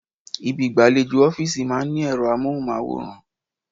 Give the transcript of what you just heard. Ibi igbalejo ọ́fíìsì máa ń ní ero amohunmaworan.